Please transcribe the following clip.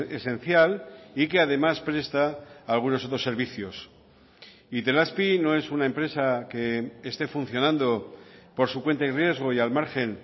esencial y que además presta algunos otros servicios itelazpi no es una empresa que esté funcionando por su cuenta y riesgo y al margen